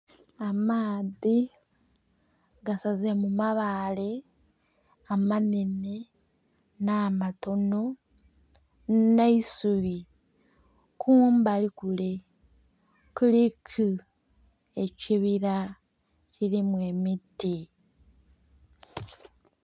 Amaadhi gasaze mu mabaale amanene na'matono ne'isubi, kumbali kule kuliku ekibira kirimu emiti.